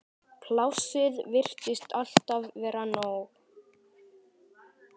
Plássið virtist alltaf vera nóg.